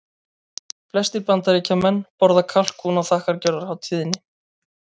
Flestir Bandaríkjamenn borða kalkún á þakkargjörðarhátíðinni.